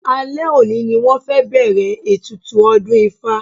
Alẹ́ òní ni wọ́n fẹ́ bẹ̀ẹ̀rẹ̀ ètùtù ọdún ifá.